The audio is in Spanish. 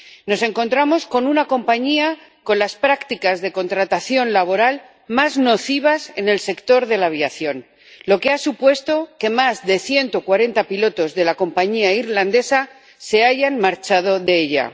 Nos encontramos con una compañía con las prácticas de contratación laboral más nocivas en el sector de la aviación, lo que ha supuesto que más de 140 pilotos de la compañía irlandesa se hayan marchado de ella.